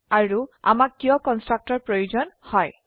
আৰু আমাক কিয় কন্সট্ৰাকটৰ প্ৰয়োজন হয়160